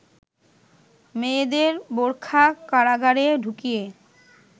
মেয়েদের বোরখার কারাগারে ঢুকিয়ে